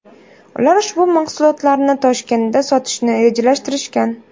Ular ushbu mahsulotlarni Toshkentda sotishni rejalashtirgan.